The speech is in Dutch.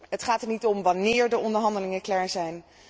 Het gaat er niet om wannéér de onderhandelingen klaar zijn.